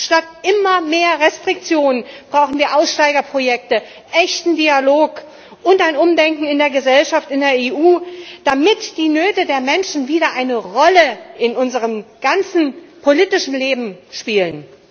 Statt immer mehr Restriktionen brauchen wir Aussteigerprojekte, echten Dialog und ein Umdenken in der Gesellschaft in der EU, damit die Nöte der Menschen wieder eine Rolle in unserem ganzen politischen Leben spielen.